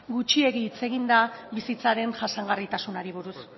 gutxiegi hitz egin da bizitzaren jasangarritasunari buruz